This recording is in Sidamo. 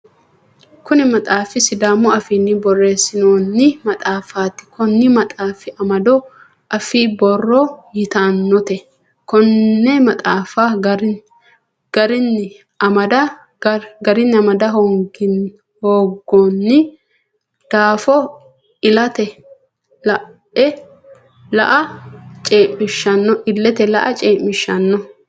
Kunni maxaafi sidaamu afiinni boreesinoonni maxaafaati konni maxaafi amado affi-borro yotanote. Konne maxaafa garinni amada hoongoonni daafo ilete la'a cee'mishano.